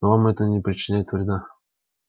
но вам это не причинит вреда